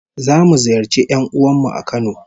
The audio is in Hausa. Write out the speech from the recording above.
Zamu ziyarci 'yan'uwan mu a Kano